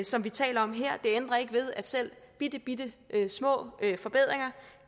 som vi taler om her det ændrer ikke ved at selv bittebittesmå forbedringer